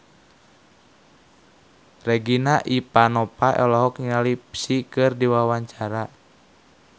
Regina Ivanova olohok ningali Psy keur diwawancara